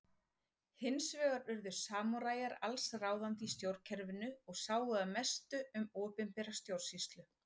Hins vegar urðu samúræjar alls ráðandi í stjórnkerfinu og sáu að mestu um opinbera stjórnsýslu.